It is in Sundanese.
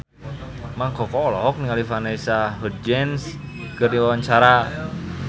Mang Koko olohok ningali Vanessa Hudgens keur diwawancara